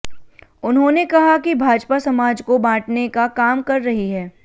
उन्होंने कहा कि भाजपा समाज को बांटने का काम कर रही है